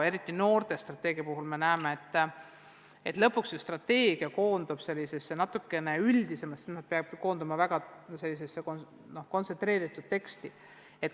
Eriti noorte strateegia puhul me näeme, et lõpuks koondub strateegia selliseks natukene üldisemaks tekstiks, see tekst peabki olema väga kontsentreeritud.